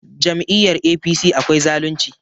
Jami'yar APC akwai zalunci